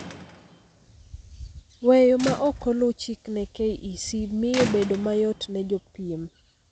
Weyo ma ok oluu chik ne KEC miyo bedo mayot ne jopiem